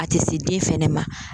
A te se den fɛnɛ ma